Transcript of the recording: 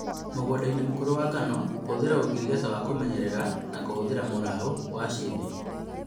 Mũgũndainĩ mũkũrũ wa ngano, hũthĩra ũngirigasha wa kũmenyerera na kũhũthĩra mũrao wa shitho